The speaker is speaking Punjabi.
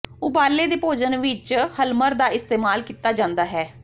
ਉਬਾਲੇ ਦੇ ਭੋਜਨ ਵਿਚ ਹਲਮਰ ਦਾ ਇਸਤੇਮਾਲ ਕੀਤਾ ਜਾਂਦਾ ਹੈ